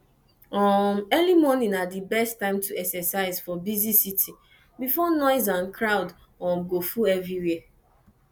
um early morning na di best time to exercise for busy city before noise and crowd um go full everwhere